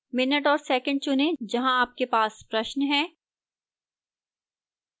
minute और second चुनें जहां आपके पास प्रश्न है